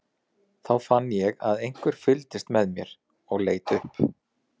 Þá fann ég að einhver fylgdist með mér og leit upp.